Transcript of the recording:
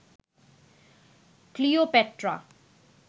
Cleopatra